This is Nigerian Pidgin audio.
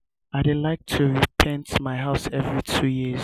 i dey like to repaint my house every two years.